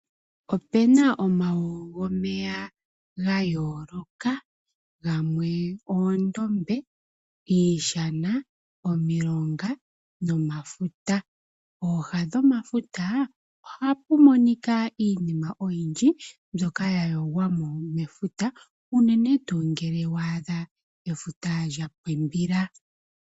Opu na omalunza gomeya ga yooloka, gamwe oondombe, iishana, omilonga nomafuta. Pooha dhomafuta ohapu monika iinima oyindji mbyoka ya yogwa mo mefuta unene tuu ngele wa adha efuta lya pimbila.